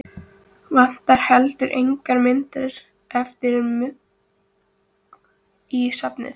Vantar heldur engar myndir eftir Mugg í safnið?